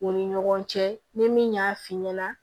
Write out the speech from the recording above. U ni ɲɔgɔn cɛ ni min y'a fi ɲɛna